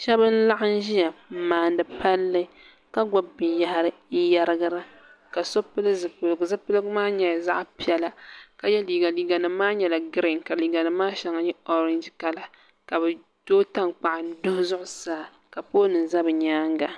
shab n laɣam ʒiya n maandi palli ka gbubi binyahari n yɛrigira so pili zipiligu zipiligu maa nyɛla zaɣ piɛla ka yɛ liiga liiga nim maa nyɛla giriin ka liiga nim maa shɛŋa nyɛ orɛnji kala ka bi tooi tankpaɣu n duɣi ka pool nim ʒɛ bi nyaanga